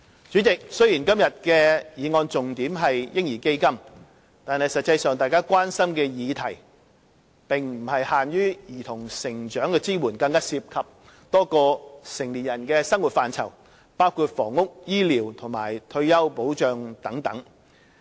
主席，雖說今天的議案重點是"嬰兒基金"，但實際上大家關心的議題並不限於對兒童成長的支援，更涉及多個成年人的生活範疇，包括房屋、醫療及退休保障等。